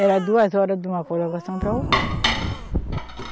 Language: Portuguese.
Era duas horas de uma para outra.